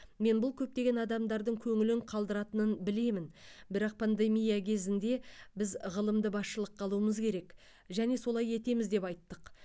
мен бұл көптеген адамдардың көңілін қалдыратынын білемін бірақ пандемия кезінде біз ғылымды басшылыққа алуымыз керек және солай етеміз деп айттық